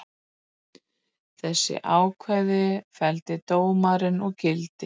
Þessi ákvæði felldi dómarinn úr gildi